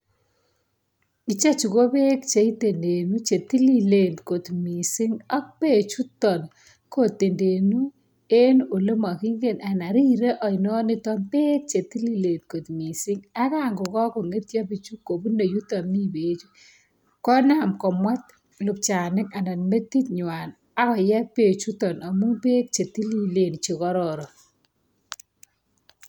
Ichechu ko beek che itendenu che tililen kot mising ak bechuton kotendenu en ole makingen anan rire ainonito beek che tililen kot mising. Ak kango kakongetyo pichu kobune yuto mi bechu konam komwet lupchanik anan metinywan ak koye bechuton amu beek che tililen che kororon.